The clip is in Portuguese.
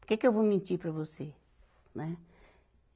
Por que que eu vou mentir para você, né?